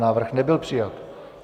Návrh nebyl přijat.